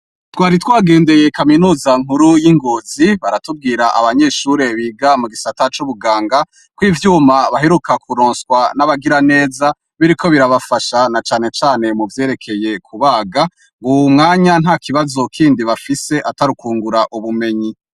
Twari twagendeye Kaminuza nkuru y'Ingozi, baratubwira Abanyeshure biga mugisata c'Ubuganga kw'ivyuma baheruka kuronswa n'abagiraneza, biriko birafasha n'a cane cane muvyeyekeye kubaga, uyumwanya ntakibazo Kindi bafise, atarukwungura ubumenyi.